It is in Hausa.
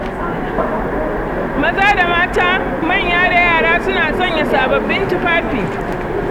Maza da mata, manya da yara, suna sanya sababbin tufafi.